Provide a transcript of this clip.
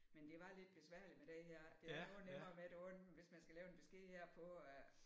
Men det var lidt besværligt med det her det er noget nemmere med det andet hvis man skal lave en besked herpå